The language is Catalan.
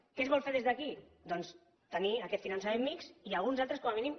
què es vol fer des d’aquí doncs tenir aquest finançament mixt i alguns altres com a mínim